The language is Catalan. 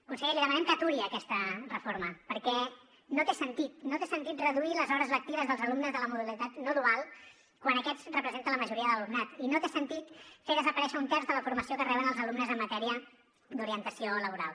conseller li demanem que aturi aquesta reforma perquè no té sentit no té sentit reduir les hores lectives dels alumnes de la modalitat no dual quan aquests representen la majoria de l’alumnat i no té sentit fer desaparèixer un terç de la formació que reben els alumnes en matèria d’orientació laboral